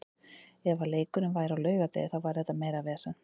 Ef að leikurinn væri á laugardegi þá væri þetta meira vesen.